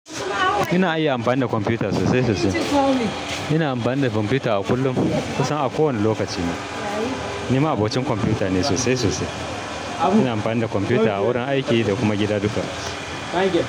Ina iya amfani da kwamfuta sosai sosai. Ina amfani da kwamfuta a kullum, kusan a kowane lokaci ma. Ni ma'abocin kwamfuta ne sosai-sosai. Ina amfani da kwamfuta a wurin aiki da kuma gida duka.